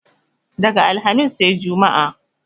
Daga alhamis sai jumma